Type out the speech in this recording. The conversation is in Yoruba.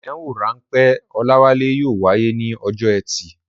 Ìdánwò-ráńpẹ́ Olawale yóò wáyé ní ọjọ́ ẹtì.